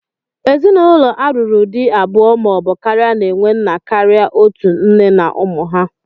Ezinụlọ a lụrụ di abụọ ma ọ bụ karịa na-enwe nna karịa otú, nne na ụmụ ha.